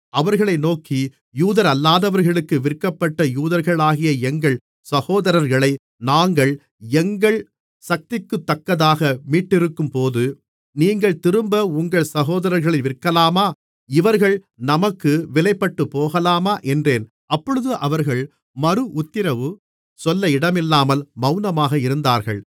அவர்களை நோக்கி யூதரல்லாதவர்களுக்கு விற்கப்பட்ட யூதர்களாகிய எங்கள் சகோதரர்களை நாங்கள் எங்கள் சக்திக்குத்தக்கதாக மீட்டிருக்கும்போது நீங்கள் திரும்ப உங்கள் சகோதரர்களை விற்கலாமா இவர்கள் நமக்கு விலைப்பட்டுப்போகலாமா என்றேன் அப்பொழுது அவர்கள் மறு உத்திரவு சொல்ல இடமில்லாமல் மவுனமாக இருந்தார்கள்